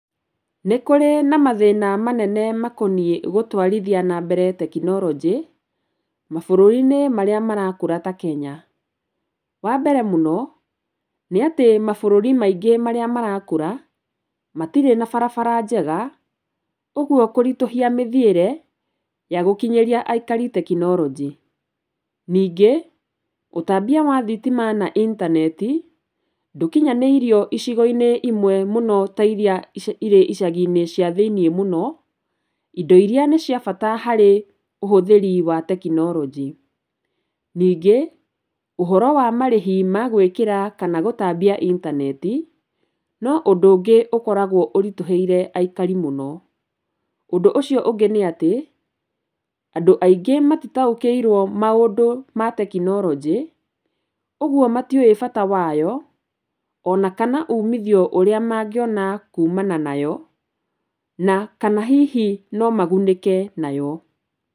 Nĩ kũrĩ na mathĩna manene makoniĩ gutwarithia na mbere tekinoronjĩ mabũrũri-inĩ marĩa marakũra ta Kenya. Wambere mũno mabũrũri-inĩ maingĩ marĩa marakũra matirĩ na barabara njega ũguo kũritũhia mĩthiĩre ya gũkinyĩria aikari tekinoronjĩ. Ningĩ ũtambia wa thitima na intaneti ndũkinyanĩirio icigo-inĩ imwe mũno ta iria irĩ icagi-inĩ cia thĩ-inĩ mũno indo iria nĩciabata harĩ ũhũthĩri wa tekinoronjĩ. Ningĩ ũhoro wa marĩhi ma gwĩkĩra kana gũtambia intaneti no ũndũ ũngĩ ũkoragwo ũritũhĩire aikari mũno. Ũndũ ũcio ũngĩ nĩ atĩ andũ aingĩ matitaũkĩirwo maũndũ ma tekinorojĩ ũguo matiũĩ bata wayo ona kana ũmithio ũrĩa mangĩona kumana nayo na kana hihi no magunĩke nayo.